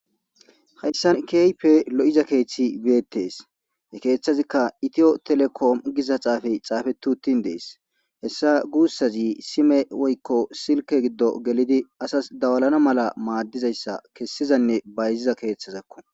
Hayssan keehippe lo7iza keethi beetes. Ha keethazikka itiyo telekoomi giza xaafey xaafetti uttin dees. Hessa guussazi sime woykko silkke giddo gelidi asas dawalana mala maaddizayssa kessizanne bayziza keethazakko.